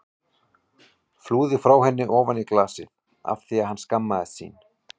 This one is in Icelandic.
Flúði frá henni ofan í glasið af því að hann skammaðist sín.